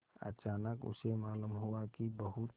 अचानक उसे मालूम हुआ कि बहुत